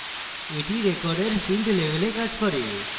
এটি record field level কাজ করে